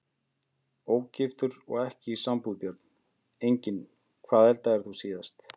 Ógiftur og ekki í sambúð Börn: Engin Hvað eldaðir þú síðast?